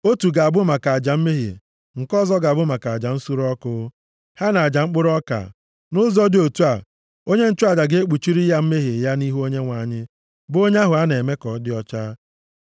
Otu ga-abụ maka aja mmehie, nke ọzọ ga-abụ maka aja nsure ọkụ, ha na aja mkpụrụ ọka. Nʼụzọ dị otu a, onye nchụaja ga-ekpuchiri ya mmehie ya nʼihu Onyenwe anyị, bụ onye ahụ a na-eme ka ọ dị ọcha.”